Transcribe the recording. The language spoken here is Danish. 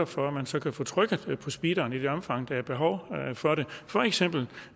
for at man så kan få trykket på speederen i det omfang der er behov for det for eksempel